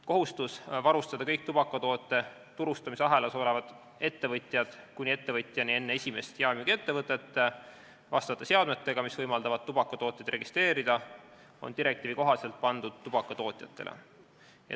Kohustus varustada kõik tubakatoote turustamisahelas olevad ettevõtjad kuni ettevõtjani enne esimest jaemüügiettevõtet vastavate seadmetega, mis võimaldavad tubakatooteid registreerida, on direktiivi kohaselt pandud tubakatootjatele.